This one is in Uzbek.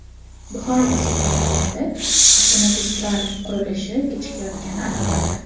Buxoro va Surxondaryoda avtomagistral qurilishi kechikayotgani aniqlandi.